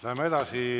Läheme edasi.